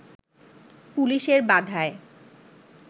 পুলিশের বাধায়